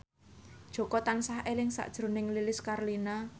Jaka tansah eling sakjroning Lilis Karlina